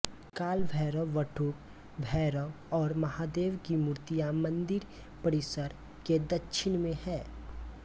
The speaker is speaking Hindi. काल भैरव बटूक भैरव और महादेव की मूर्तियां मंदिर परिसर के दक्षिण में है